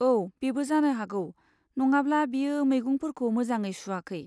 औ, बेबो जानो हागौ, नङाब्ला बियो मैगंफोरखौ मोजाङै सुआखै।